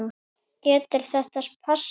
Getur þetta passað?